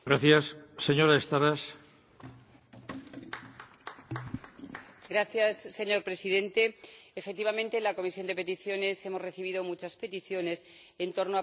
Señor Presidente, efectivamente, en la Comisión de Peticiones hemos recibido muchas peticiones en torno a problemas que surgen cuando se produce una separación en una familia internacional.